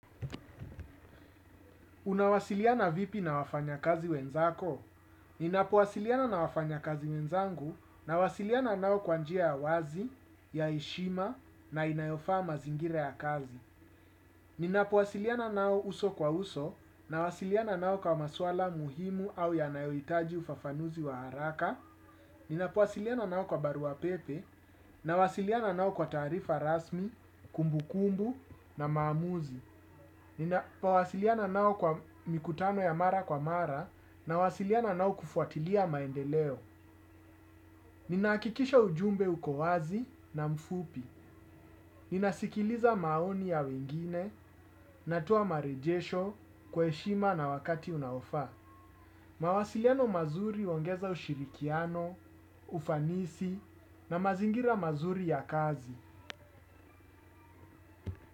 Unawasiliana vipi na wafanya kazi wenzako? Ninapowasiliana na wafanyakazi wenzangu, nawasiliana nao kwa njia ya wazi, ya heshima na inayofaa mazingira ya kazi. Ninapowasiliana nao uso kwa uso nawasiliana nao kwa maswala muhimu au yanayohitaji ufafanuzi wa haraka. Ninapuwasiliana nao kwa barua pepe nawasiliana nao kwa taarifa rasmi, kumbukumbu na maamuzi. Ninapo wasiliana nao kwa mikutano ya mara kwa mara, nawasiliana nao kufuatilia maendeleo. Nina hakikisha ujumbe uko wazi na mfupi. Nina sikiliza maoni ya wengine natoa marejesho kwa heshima na wakati unaofaa. Mawasiliano mazuri huongeza ushirikiano, ufanisi na mazingira mazuri ya kazi.